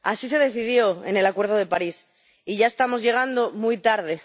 Así se decidió en el Acuerdo de París y ya estamos llegando muy tarde.